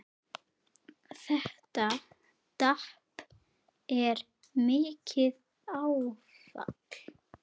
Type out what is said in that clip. Þetta tap er mikið áfall.